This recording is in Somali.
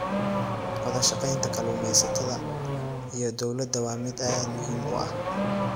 Wadashaqeynta kalluumeysatada iyo dowladda waa mid aad muhiim u ah.